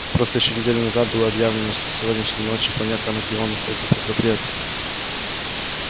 просто ещё неделю назад было объявлено что с сегодняшней ночи планета анакреон находится под запретом